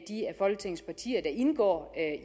folketingets partier der indgår